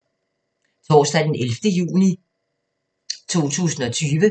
Torsdag d. 11. juni 2020